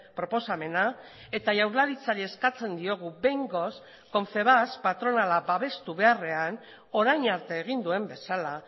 proposamena eta jaurlaritzari eskatzen diogu behingoz confebask patronala babestu beharrean orain arte egin duen bezala